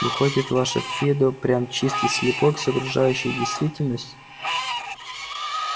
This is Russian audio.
выходит ваше фидо прям чистый слепок с окружающей действительности